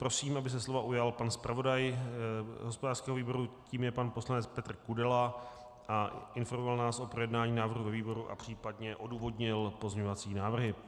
Prosím, aby se slova ujal pan zpravodaj hospodářského výboru, tím je pan poslanec Petr Kudela, a informoval nás o projednání návrhu ve výboru a případně odůvodnil pozměňovací návrhy.